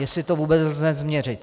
Jestli to vůbec lze změřit.